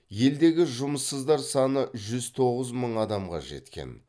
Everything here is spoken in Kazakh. елдегі жұмыссыздар саны жүз тоғыз мың адамға жеткен